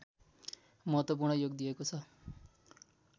महत्त्वपूर्ण योग दिएको छ